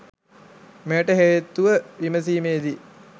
මෙයට හේතුව විමසීමේදී